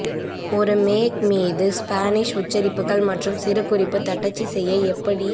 ஒரு மேக் மீது ஸ்பானிஷ் உச்சரிப்புகள் மற்றும் சிறுகுறிப்பு தட்டச்சு செய்ய எப்படி